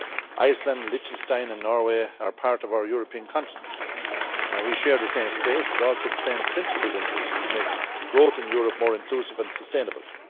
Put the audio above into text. Iceland, Liechtenstein and Norway are part of our European continent and we share the same space, but also the same principled interest to make growth in Europe more inclusive and sustainable.